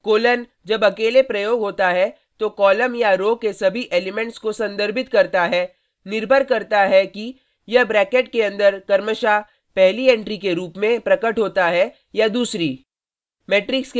colon जब अकेले प्रयोग होता है तो कॉलम या रो के सभी एलिमेंट्स को संदर्भित करता है निर्भर करता है कि यह ब्रैकेट के अंदर क्रमशः पहली एंट्री के रूप में प्रकट होता है या दूसरी